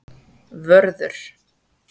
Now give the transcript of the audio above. Vörður